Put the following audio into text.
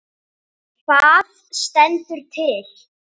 Hvað stendur til?